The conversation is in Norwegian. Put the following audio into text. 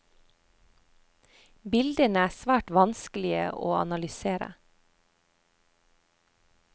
Bildene er svært vanskelige å analysere.